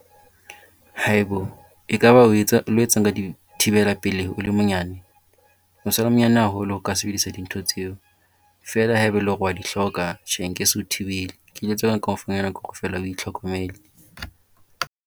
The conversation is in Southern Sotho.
Haibo ekaba o lo etsang ka dithibela pelehi o le monyane? O sa le monyane haholo hore o ka sebedisa dintho tseo. Feela ha e be e le hore wa di hloka tjhe nke se o thibele. o itlhokomele.